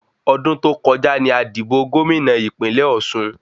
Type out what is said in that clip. Ọdún tó kọjá ni a dìbò Gómìnà ìpínlẹ̀ ọ̀sun